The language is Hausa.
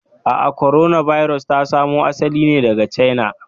A'a, korona birus ta samo asali ne daga China.